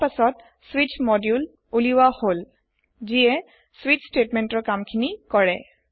তাৰ পাছত স্বিচ মডুলে উলিওৱা হল যিহে স্বিচ স্টেতমেন্টৰ কামখিনি কৰে